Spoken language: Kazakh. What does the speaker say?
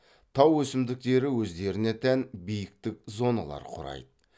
тау өсімдіктері өздеріне тән биіктік зоналар құрайды